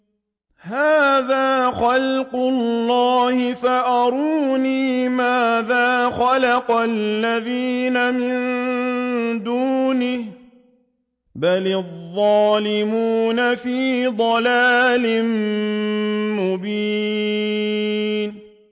هَٰذَا خَلْقُ اللَّهِ فَأَرُونِي مَاذَا خَلَقَ الَّذِينَ مِن دُونِهِ ۚ بَلِ الظَّالِمُونَ فِي ضَلَالٍ مُّبِينٍ